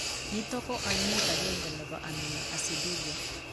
Nitok ko ainet agenge nebo aminoaciduria.